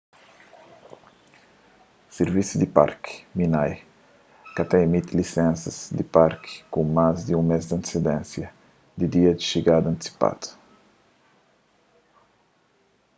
sirvisu di parki minae ka ta imiti lisensas di parki ku más di un mês di antesidênsia di dia xigada antisipadu